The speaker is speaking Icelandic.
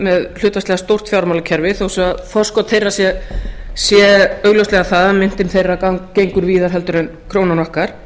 með hlutfallslega stórt fjármálakerfi þó svo að forskot þeirra sé augljóslega það að myntin þeirra gengur víðar en krónan okkar